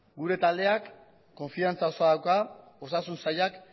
gure taldeak konfidantza osoa dauka osasun sailak